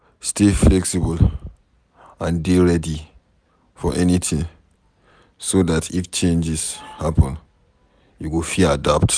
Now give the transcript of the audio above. Stay flexible and dey ready for anything so dat if changes happen you go fit adapt